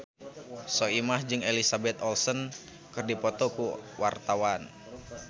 Soimah jeung Elizabeth Olsen keur dipoto ku wartawan